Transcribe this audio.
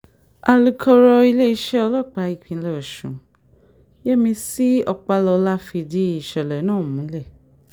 alūkọ̀rọ̀ iléeṣẹ́ ọlọ́pàá ìpínlẹ̀ ọ̀sùn yẹ́mísì ọpàlọ́lá fìdí ìṣẹ̀lẹ̀ náà múlẹ̀